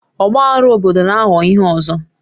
Ọgbaghara obodo na-ahọ ihe ọzọ